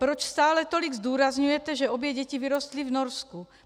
Proč stále tolik zdůrazňujete, že obě děti vyrostly v Norsku?